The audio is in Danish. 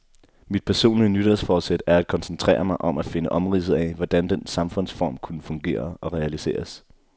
Mit personlige nytårsforsæt er at koncentrere mig om at finde omridset af, hvordan den samfundsform kunne fungere og realiseres.